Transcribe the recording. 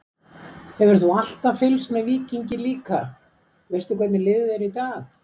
Hefur þú alltaf fylgst með Víkingi líka, veistu hvernig liðið er í dag?